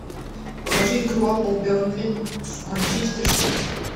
покажи игру апл бернли с манчестер сити